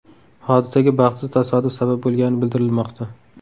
Hodisaga baxtsiz tasodif sabab bo‘lgani bildirilmoqda.